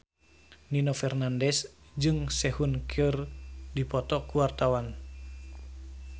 Nino Fernandez jeung Sehun keur dipoto ku wartawan